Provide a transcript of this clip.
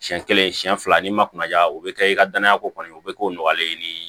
Siɲɛ kelen siɲɛ fila n'i ma kunnaja o be kɛ i ka danaya ko kɔni o be k'o nɔgɔlen ni